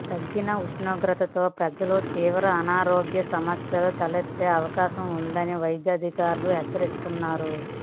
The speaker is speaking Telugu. తగ్గిన ఉష్ణోగ్రతలతో ప్రజలకు తీవ్ర అనారోగ్య సమస్యలు తలెత్తే అవకాశం ఉందని వైద్యాధికారులు హెచ్చరిస్తున్నారు